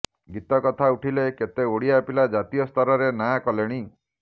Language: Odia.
ଗୀତ କଥା ଉଠିଲେ କେତେ ଓଡ଼ିଆ ପିଲା ଜାତୀୟସ୍ତରରେ ନାଁ କଲେଣି